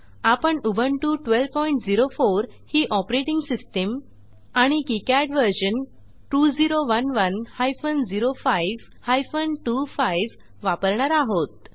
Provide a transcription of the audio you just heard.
आपण उबुंटू 1204 ही operating system आणि किकाड व्हर्शन 2011 हायफेन 05 हायफेन 25 वापरणार आहोत